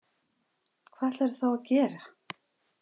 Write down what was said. Hvað ætlarðu þá að gera?